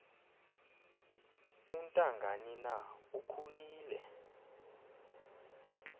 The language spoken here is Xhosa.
untangani na ukhulile